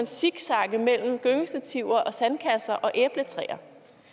zigzagge mellem gyngestativer og sandkasser og æbletræer